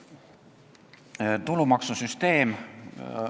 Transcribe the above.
Tulumaksusüsteem.